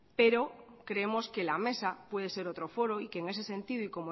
pero creemos que la mesa puede ser otro foro y que en ese sentido y